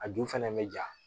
A ju fɛnɛ mɛ ja